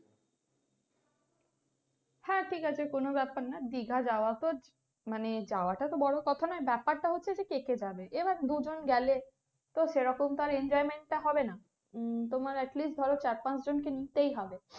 হ্যাঁ ঠিক আছে কোনো ব্যাপার নয় দিঘা যাওয়া তো মানে যাওয়াটা তো বড় কথা নয় ব্যাপারটা হচ্ছে কে কে যাবে এবার দুজন গেলে তো সেরকম তো আর enjoyment টা হবে না উম তোমার at least ধরো চার পাঁচ জন কে নিতেই হবে,